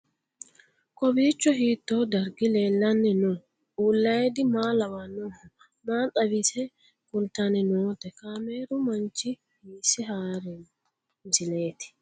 Kowiicho hiito dargi leellanni no ? ulayidi maa lawannoho ? maa xawisse kultanni noote ? kaameru manchi hiisse haarino misileeti?